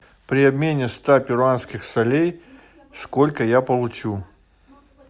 при обмене ста перуанских солей сколько я получу